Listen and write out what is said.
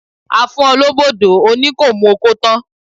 A fún ọ lóbò dó, o ní kò mu okó tán